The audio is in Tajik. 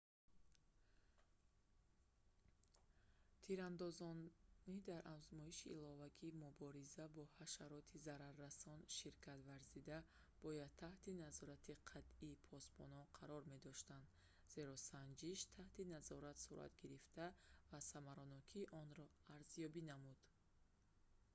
тирандозони дар озмоиши иловагии мубориза бо ҳашароти зараррасон ширкат варзида бояд таҳти назорати қатъии посбонон қарор медоштанд зеро санҷиш таҳти назорат сурат гирифт ва самаранокии онро арзёбӣ намуд